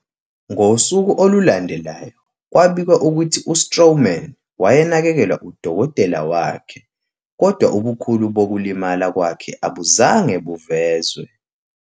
Ngosuku olulandelayo, kwabikwa ukuthi u-Strowman wayenakekelwa udokotela wakhe, kodwa ubukhulu bokulimala kwakhe abuzange buvezwe.